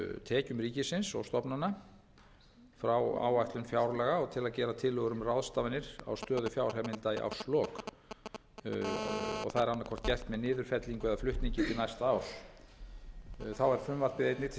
tekjum ríkisins og stofnana frá áætlun fjárlaga og til að gera tillögur um ráðstafanir á stöðu fjárheimilda í árslok og það er annað hvort gert með niðurfellingu eða flutningi til næsta árs þá er frumvarpið einnig til